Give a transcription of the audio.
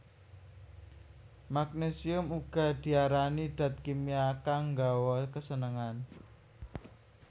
Magnésium uga diarani dat kimia kang nggawa kasenengan